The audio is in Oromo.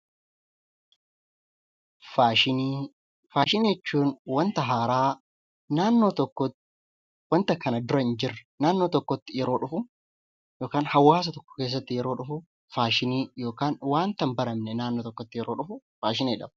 Faashinii Faashinii jechuun wanta haaraa naannoo tokkotti wanta kana dura hin jirre naannoo tokkotti yeroo dhufu yookiin hawaasa tokko keessatti yeroo dhufu faashinii yookaan wanta hin baramne naannoo tokkotti yeroo dhufu 'Faashinii' jedhama.